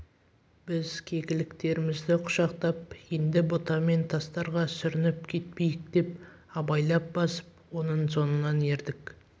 біз кекіліктерімізді құшақтап енді бұта мен тастарға сүрініп кетпейік деп абайлап басып оның соңынан ердік